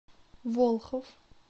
волхов